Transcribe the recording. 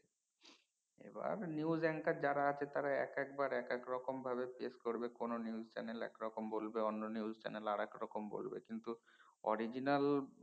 এবার news anchors যারা আছে তারা একেকবার একেক রকম ভাবে চেস করবে কোন news channel এক রকম বলবে অন্য news channel আরেক রকম বলবে কিন্তু original